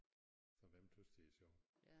Så hvem tøs det er sjovt